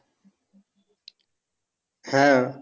হ্যাঁ